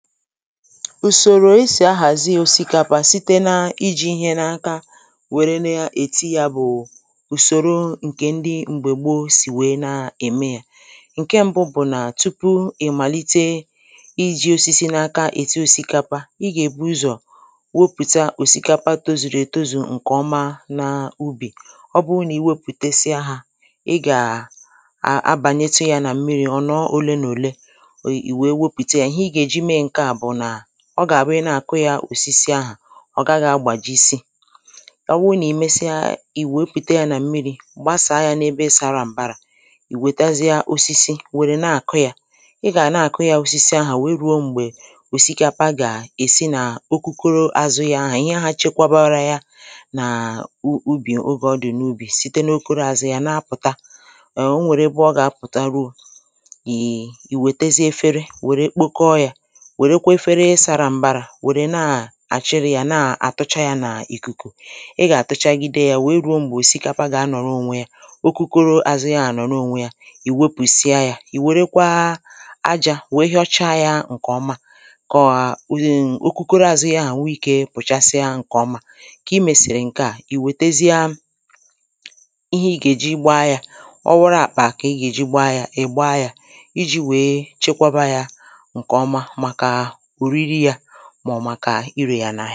Ùsòrò esì ahàzi osikapa site na ijī ihe n’aka wère na-ètiyabụ̀ ùsòro ǹkè ndị m̀gbè gbo sì wèe na ème yā ǹke mbụ bụ̀ nà tupu ị̀màlite ijī osisi n’aka èti osikapa ị gà-èbu ụzọ̀ wepụ̀ta òsìkapa tozùrù ètozù ǹkè ọma nà ubì ọ bụ nà iwepụ̀tesịa ha ị gà a abànyetu yā nà m̀mirī ọ̀ nọ̀ọ ole nà òle ị̀ wee wepụ̀te yā ihe ị gà-èji me ǹkè a bụ̀ nà ọ gà-àbụ ị na-àkụ yā osisi ahà ọ̀ gaghị̄ agbàjisị ọ wụ nà ị mesịa ị̀ wèepụ̀te yā nà m̀mirī gbasàa yā n’ebe sara m̀barā ị̀ wètazịa osisi wère na-àkụ yā ị gà na-àkụ yā osisi ahà wèe rùo m̀gbè òsìkapa gà-èsi nà okokoro àzụ yā ahà ihe ahā chekwabara ya nà u ubì ogè ọ dị̀ n’ubì site n’okoro àzụ yā na-apụ̀ta eh o nwèrè ebe ọ gà-apụ̀ta ruo ị ị wètezie efere wère kpoko yā wèrekwe efere sara m̀barā wère naà-àchịri yā naà-àtụcha yā n’ìkùkù ị gà-àtụchagide yā wèe ruo m̀gbè òsìkapa gà-anọ̀rọ ònwe yā okokoro àzụ yā ànọ̀rọ ònwe yā ị̀ wepụ̀sịa yā ị̀ wèrekwa ajā wèe hịọcha yā ǹkè ọma kòà ǹ okokoro àzụ yā ahà nwe ikē pụ̀chasịa ǹke ọma kà ị mèsìrì ǹkè a ị̀ wètezi̇a ihe ị gà-èji gba yā ọ wụrụ àkpà kà ị gà-èji gba yā ị gba yā ijī wèe chekwaba yā ǹkè ọma màkà òriri yā mà ọ̀ mà irè yà nà